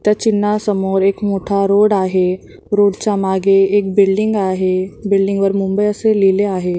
त्या चिन्हासमोर एक मोठा रोड आहे रोड च्या मागे एक बिल्डिंग आहे बिल्डिंग वर मुंबई असे लिहिले आहे.